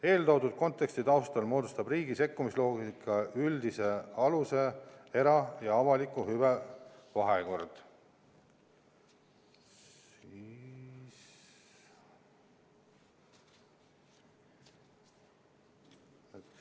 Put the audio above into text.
Eeltoodud konteksti taustal moodustab riigi sekkumisloogika üldise aluse era- ja avalike hüvede vahekord.